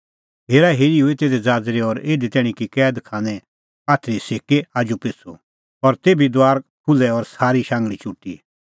हेराहेरी हुई तिधी ज़ाज़री और इधी तैणीं कि कैद खाने आथरी सिक्की आजूपिछ़ू और तेभी दुआर खुल्है और सारी शांघल़ी चुटी